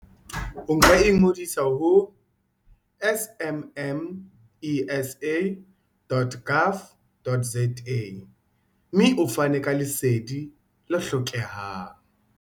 O ka ingodisa ho smmesa.gov.za. mme o fane ka Lesedi le hlokehang.